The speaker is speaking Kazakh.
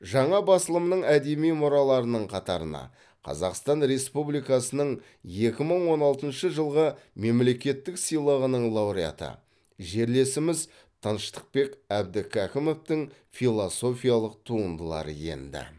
жаңа басылымның әдеби мұраларының қатарына қазақстан республикасының екі мың он алтыншы жылғы мемлекеттік сыйлығының лауреаты жерлесіміз тыныштықбек әбдікәкімовтің философиялық туындылары енді